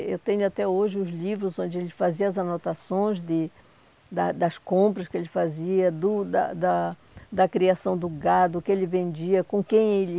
Eu tenho até hoje os livros onde ele fazia as anotações de da das compras que ele fazia, do da da da criação do gado, o que ele vendia, com quem ele